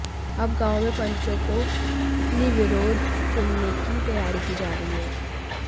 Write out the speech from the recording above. अब गांव में पंचों को निर्विरोध चुनने की तैयारी की जा रही है